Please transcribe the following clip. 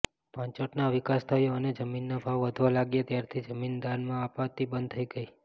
પાંચોટનો વિકાસ થયો અને જમીનના ભાવ વધવા લાગ્યા ત્યારથી જમીન દાનમાં અપાતી બંધ થઈ ગઈ